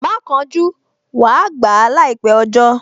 Má kánjú, wàá gbà á láìpẹ́ ọjọ́